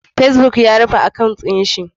Facebook ya rufe akawun din sa.